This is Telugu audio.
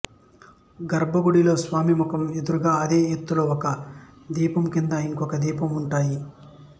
గర్భ గుడిలో స్వామి ముఖం ఎదురుగా అదే ఎత్తులో ఒక దీపం కింద ఇంకో దీపం వుంటాయి